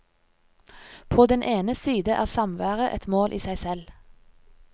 På den ene side er samværet et mål i seg selv.